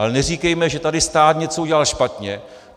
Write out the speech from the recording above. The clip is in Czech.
Ale neříkejme, že tady stát něco udělal špatně.